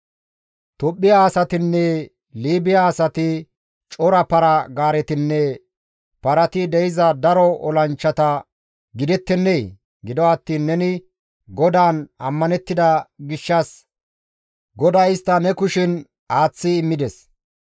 Tophphiya asatinne Liibiya asati, cora para-gaaretinne parati de7iza daro olanchchata gidettennee? Gido attiin neni GODAAN ammanettida gishshas GODAY istta ne kushen aaththi immides.